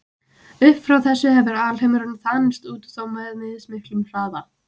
Upp frá þessu hefur alheimurinn þanist út, þó með mismiklum hraða.